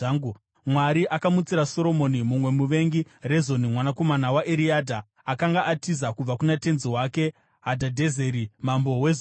Mwari akamutsira Soromoni mumwe muvengi, Rezoni, mwanakomana waEriadha, akanga atiza kubva kuna tenzi wake Hadhadhezeri mambo weZobha.